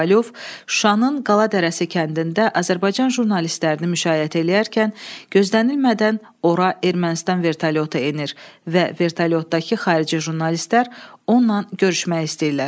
Kovalyov Şuşanın Qala Dərəsi kəndində Azərbaycan jurnalistlərini müşayiət eləyərkən gözlənilmədən ora Ermənistan vertolyotu enir və vertolyotdakı xarici jurnalistlər onunla görüşmək istəyirlər.